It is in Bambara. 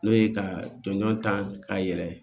N'o ye ka jɔnjɔn ta ka yɛlɛ